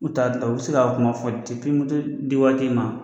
N'u taa u be se ka kuma fɔ dipi moto di waati i ma